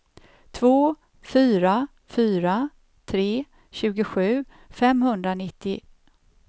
två fyra fyra tre tjugosju femhundranittio